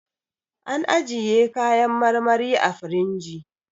An ajjiye kayan marmari a firinji